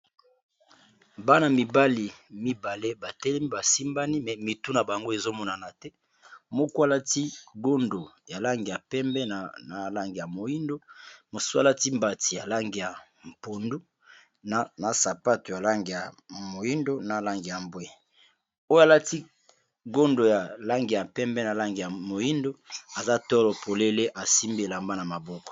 bana mibali mibale batelemi basimbani me mitu na bango ezomonana te mokwalati gondo ya lange ya pembe na lange ya moindo moswalati mbati ya lange ya mpundu na sapato ya lange ya moindo na lange ya mbwe oyo alati gondo ya lange ya pembe na lange ya moindo aza toro polele asimbi elamba na maboko